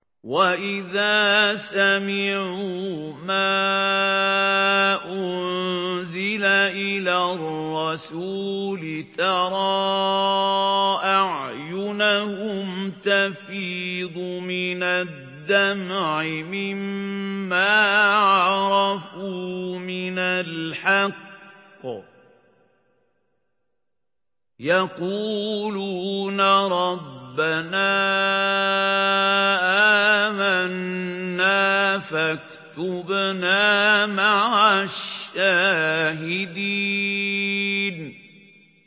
وَإِذَا سَمِعُوا مَا أُنزِلَ إِلَى الرَّسُولِ تَرَىٰ أَعْيُنَهُمْ تَفِيضُ مِنَ الدَّمْعِ مِمَّا عَرَفُوا مِنَ الْحَقِّ ۖ يَقُولُونَ رَبَّنَا آمَنَّا فَاكْتُبْنَا مَعَ الشَّاهِدِينَ